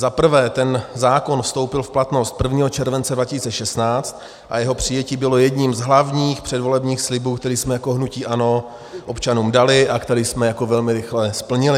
Za prvé ten zákon vstoupil v platnost 1. července 2016 a jeho přijetí bylo jedním z hlavních předvolebních slibů, který jsme jako hnutí ANO občanům dali a který jsme jako velmi rychle splnili.